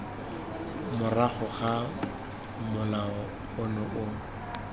morago ga molao ono o